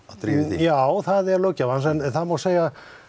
já það er löggjafans en það má segja